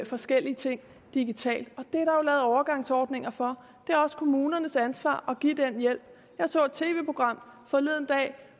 forskellige ting digitalt og lavet overgangsordninger for det er også kommunernes ansvar at give den hjælp jeg så et tv program forleden dag